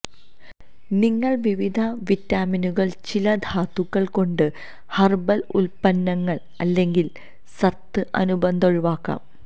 നിങ്ങൾ വിവിധ വിറ്റാമിനുകൾ ചില ധാതുക്കൾ കൊണ്ട് ഹെർബൽ ഉൽപ്പന്നങ്ങൾ അല്ലെങ്കിൽ സത്ത് അനുബന്ധ ഒഴിവാക്കാം